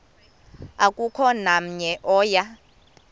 akukho namnye oya